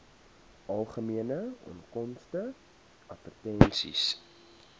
algemene onkoste advertensies